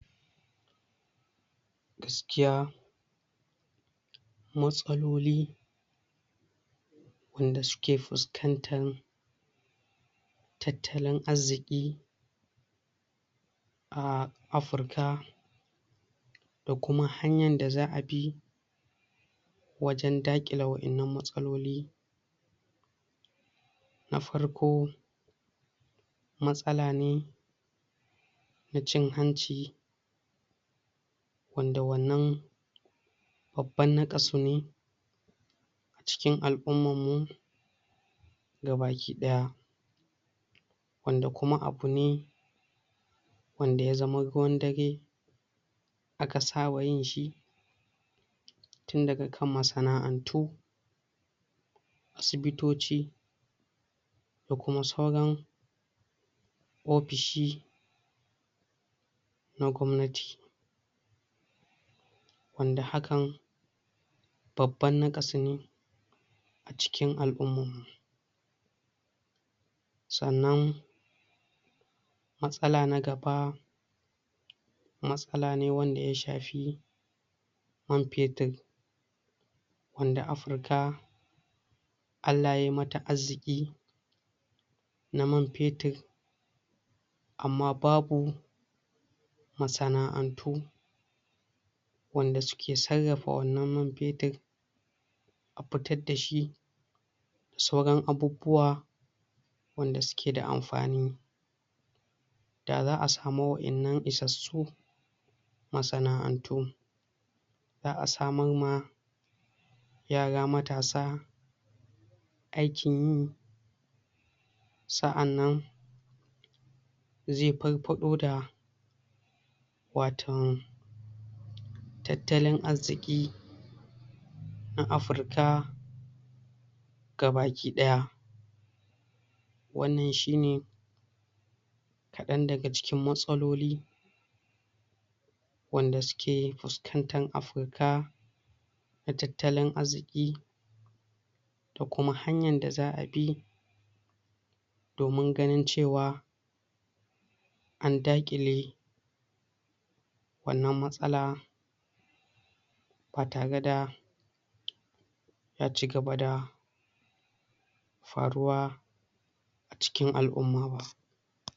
Gaskiya matsaloli wanda suke fuskantan tattalin azziƙi a afurka, da kuma hanyan da za'a bi wajen daƙile wa'innan matsaloli; Na farko matsala ne na cin hanci, wanda wannan babban naƙasu ne a cikin al'umman mu gabaki ɗaya, wanda kuma abu ne wanda ya zama ruwan dare aka saba yin shi tun daga kan masana'antu, asibitoci da kuma sauran ofishi na gwamnati. Wanda hakan babban naƙasu ne a cikin al'umman mu. Sannan matsala na gaba matsala ne wanda ya shafi man fetir, wanda Afirka Allah yai mata azziƙi na man fetir, amma babu masana'antu wanda suke sarrafa wannan man fetir a fitad da shi da sauran abubuwa wanda suke da amfani. Da za'a samu wa'innan isassu masana'antu, za'a samar ma yara matasa aikin yi, sa'anan ze farfaɗo da waton tattalin azziƙi na Afirka gabaki ɗaya. Wannan shine kaɗan daga cikin matsaloli wanda suke fuskantan Afurka na tattalin azziƙi, da kuma hanyan da za'a bi domun ganin cewa an daƙile wannan matsala ba tare da ya cigaba da faruwa a cikin al'umma ba.